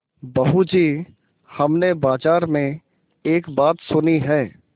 बहू जी हमने बाजार में एक बात सुनी है